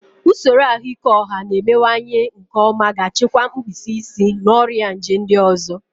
Usoro ahụike ọha na-emewanyewanye nke ọma ga-achịkwa mkpịsị isi na ọrịa nje ndị ọzọ.